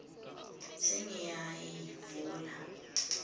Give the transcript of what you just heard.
sengiyayivula